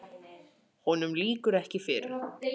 Honum lýkur ekki fyrr.